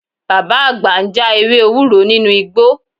Bàbá àgbà ń já ewé ewúro nínú igbó